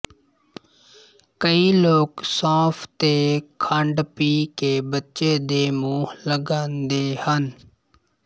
ਕਈ ਲੋਕ ਸੌਂਫ ਤੇ ਖੰਡ ਪੀਹ ਕੇ ਬੱਚੇ ਦੇ ਮੂੰਹ ਲਗਾਂਦੇ ਹਨ